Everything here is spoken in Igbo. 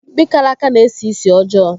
Mkpi karaka na-esi ísì ọjọọ.